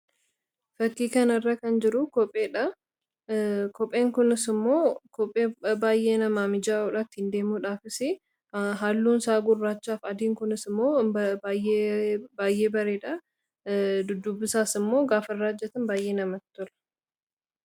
fakkii kan irra kan jiru kopheen kunis immoo baayyee namaa mijaa'uudhaatti ittiin deemuudhaafis halluun isaa gurraachaa f adiin kunis immoo baayyee bareedha duddubisaas immoo gaafa irraajjatan baayyee namatti tola